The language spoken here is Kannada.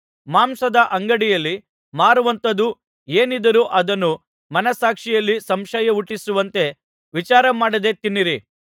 ಮಾಂಸದ ಅಂಗಡಿಯಲ್ಲಿ ಮಾರುವಂಥದ್ದು ಏನಿದ್ದರೂ ಅದನ್ನು ಮನಸ್ಸಾಕ್ಷಿಯಲ್ಲಿ ಸಂಶಯ ಹುಟ್ಟಿಸುವಂತೆ ವಿಚಾರ ಮಾಡದೇ ತಿನ್ನಿರಿ